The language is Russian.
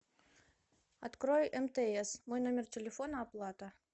открой мтс мой номер телефона оплата